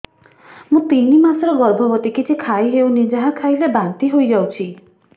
ମୁଁ ତିନି ମାସର ଗର୍ଭବତୀ କିଛି ଖାଇ ହେଉନି ଯାହା ଖାଇଲେ ବାନ୍ତି ହୋଇଯାଉଛି